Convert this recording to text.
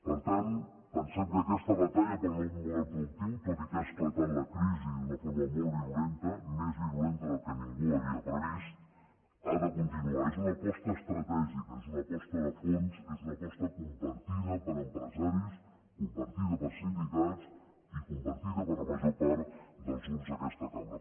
per tant pensem que aquesta batalla pel nou model productiu tot i que ha esclatat la crisi d’una forma molt virulenta més virulenta del que ningú havia previst ha de continuar és una aposta estratègica és una aposta de fons és una aposta compartida per empresaris compartida per sindicats i compartida per la major part dels grups d’aquesta cambra